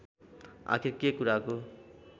आखिर के कुराको